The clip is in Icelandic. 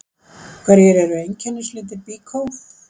Hverjir eru einkennislitir Byko?